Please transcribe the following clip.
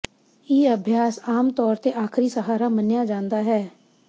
ਇਹ ਅਭਿਆਸ ਆਮ ਤੌਰ ਤੇ ਆਖਰੀ ਸਹਾਰਾ ਮੰਨਿਆ ਜਾਂਦਾ ਹੈ